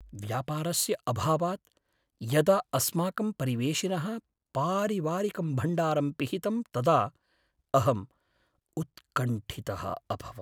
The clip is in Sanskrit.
व्यापारस्य अभावात् यदा अस्माकं परिवेशिनः पारिवारिकं भण्डारं पिहितं तदा अहम् उत्कण्ठितः अभवम्।